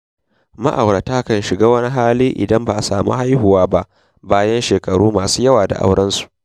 Ma'aurata kan shiga wani hali idan ba su samu haihuwa ba bayan shekaru masu yawa da aurensu.